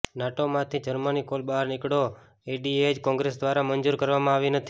NATO માંથી Germany કોલ બહાર નીકળો એડીએચ કોંગ્રેસ દ્વારા મંજૂર કરવામાં આવી નથી